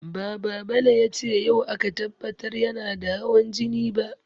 Ba Babale ya ce yau aka tabbatar yana da hawan jini ba.